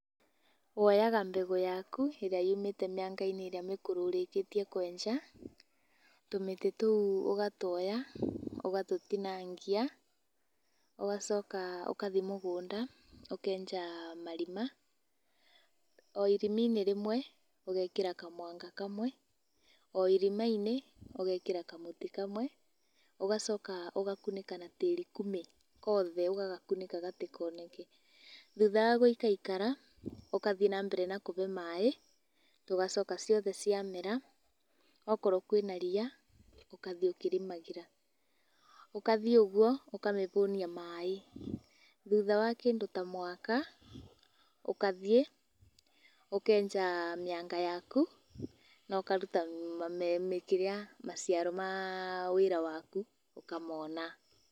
Woyaga mbegũ yaku, ĩrĩa yumĩte mĩanga-inĩ ĩrĩa mĩkũrũ ũrĩkĩtie kwenja. Tũmĩtĩ tũu ũgatuoya ũgatũtinangia, ũgacoka ũkathi mũgũnda, ũkenja marima. O irimi-ini rĩmwe ũgekĩra kamwanga kamwe, o irima-inĩ ũgekĩra kamũtĩ kamwe, ũgacoka ũgakunĩka na tĩri kume kothe, ũgagakunĩka gatikoneke. Thutha wa gũikaikara, ũkathi nambere na kũve maĩ, ũgacoka ciothe ciamera okorwo kwĩna ria, ũkathiĩ ũkĩrĩmagĩra. Ũkathiĩ ũguo ũkamĩhũnia maĩ, thutha wa kĩndũ ta mwaka ũkathiĩ ũkenja mĩanga yaku, na ũkaruta me me kĩrĩa maciaro ma wĩra waku ũkamona.